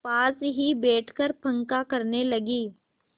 पास ही बैठकर पंखा करने लगी